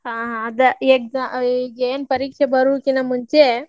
ಹಾ ಆದೆ exa~ ಈಗೇನ್ ಪರೀಕ್ಷೆ ಬರುಕಿನ ಮುಂಚೆ.